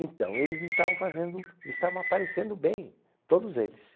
Então, eles estavam fazendo, eles estavam aparecendo bem, todos eles.